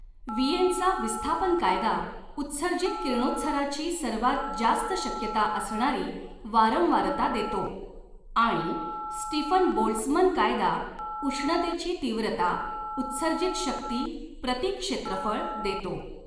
विएनचा विस्थापन कायदा, उत्सर्जित किरणोत्साराची सर्वात जास्त शक्यता असणारी वारंवारता देतो, आणि स्टीफन बोल्ट्झमन कायदा उष्णतेची तीव्रता उत्सर्जित शक्ती प्रति क्षेत्रफळ देतो.